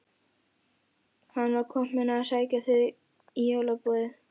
Hann var kominn að sækja þau í jólaboðið.